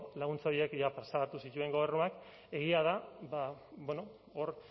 laguntza horiek jada plazaratu zituen gobernuak egia da ba bueno hor